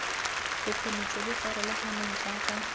bokgoni jo bo farologaneng jaaka